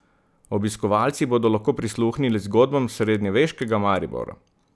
Obiskovalci bodo lahko prisluhnili zgodbam srednjeveškega Maribora.